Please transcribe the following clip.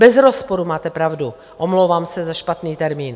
Bez rozporu, máte pravdu, omlouvám se za špatný termín.